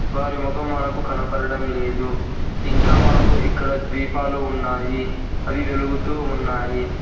వారి మొఖం మనకు కనపడటం లేదు ఇంకా మనకు ఇక్కడ ద్వీపాలు ఉన్నాయి అవి వెలుగుతూ ఉన్నాయి.